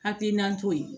Hakilina to ye